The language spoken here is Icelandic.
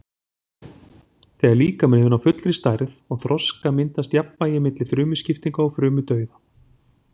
Þegar líkaminn hefur náð fullri stærð og þroska myndast jafnvægi milli frumuskiptinga og frumudauða.